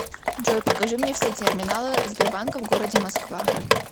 джой покажи мне все терминалы сбербанка в городе москва